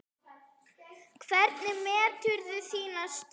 Hvernig meturðu þína stöðu?